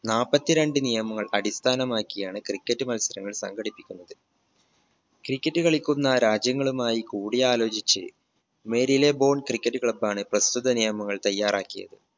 നാല്പത്തിരണ്ട്‍ നിയമങ്ങൾ അടിസ്ഥാനമാക്കിയാണ് cricket മത്സരങ്ങൾ സംഘടിപ്പിക്കുന്നത്. cricket കളിക്കുന്ന രാജ്യങ്ങളുമായി കൂടിയാലോചിച്ച് Marylebone Cricket Club ആണ് പ്രസ്തുത നിയമങ്ങൾ തയ്യാറാക്കിയത്